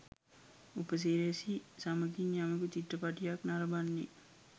උපසිරැසි සමගින් යමෙකු චිත්‍රපටියක් නරඹන්නේ